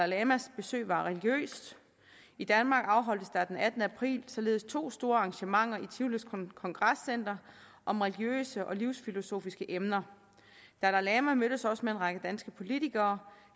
lamas besøg var religiøst i danmark afholdtes der den attende april således to store arrangementer i tivolis kongrescenter om religiøse og livsfilosofiske emner dalai lama mødtes også med en række danske politikere